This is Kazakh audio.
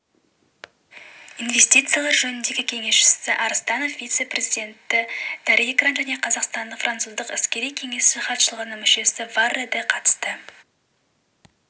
инвестициялар жөніндегі кеңесшісі арыстанов вице-президенті дарригран және қазақстандық-француздық іскери кеңесі хатшылығының мүшесі веррэ де қатысты